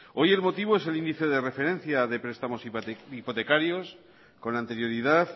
hoy el motivo es el índice de referencia de prestamos hipotecarios con anterioridad